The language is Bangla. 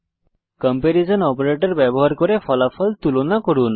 কম্পারিসন অপারেটর ব্যবহার করে ফলাফল তুলনা করুন